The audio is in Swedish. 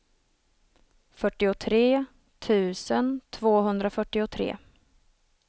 fyrtiotre tusen tvåhundrafyrtiotre